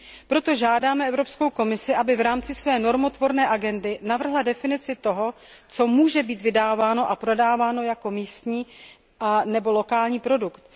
Proto žádáme Evropskou komisi, aby v rámci své normotvorné agendy navrhla definici toho, co může být vydáváno a prodáváno jako místní nebo lokální produkt.